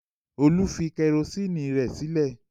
Olú fi kẹrósíínì sílé?